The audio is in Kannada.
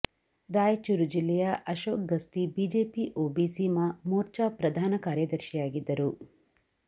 ರಾಯಚೂರು ಜಿಲ್ಲೆಯ ಅಶೋಕ್ ಗಸ್ತಿ ಬಿಜೆಪಿ ಓಬಿಸಿ ಮೋರ್ಚಾ ಪ್ರಧಾನ ಕಾರ್ಯದರ್ಶಿಯಾಗಿದ್ದರು